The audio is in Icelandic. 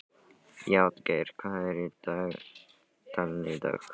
Játgeir, hvað er í dagatalinu í dag?